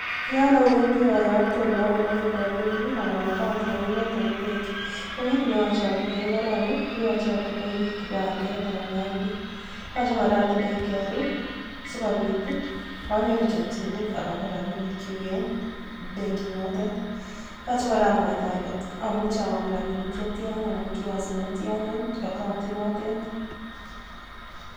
Yon owendi oyote olokonoren rabinik anan account nenyunet en benki, ko kiit neyoche otinyee korong koyoche otindoi kipandet anan id, yoche kora otindoi KRA sikobiit anyoru chomchinet akonor rabinikyuk en benkinotet, yoche kora amwaita olee amuche akonor rabinik chetian anan kiasi netyan en account inotet.